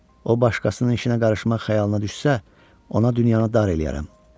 O başqasının işinə qarışmaq xəyalına düşsə, ona dünyanı dar eləyərəm.